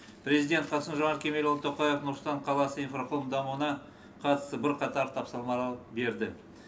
президент қасым жомарт кемелұлы тоқаев нұр сұлтан қаласы инфрақұрылым дамуына қатысты бірқатар тапсырмарал берді